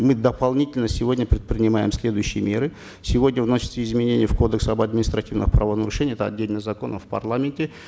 мы дополнительно сегодня предпринимаем следующие меры сегодня вносятся изменения в кодекс об административной правонарушении это отдельный закон в парламенте